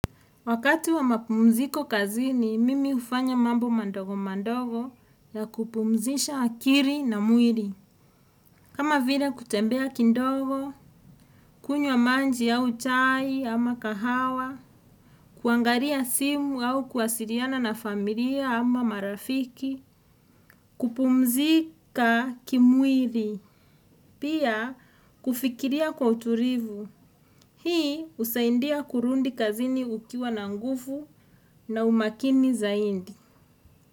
Wakati wa mapumziko kazini, mimi ufanya mambo mandogo mandogo ya kupumzisha akili na mwili. Kama vile kutembea kidogo, kunywa maji au chai ama kahawa, kuangalia simu au kuasiliana na familia ama marafiki, kupumzika kimwili, pia kufikiria kwa utulivu. Hii husaindia kurudi kazini ukiwa na nguvu na umakini zaidi.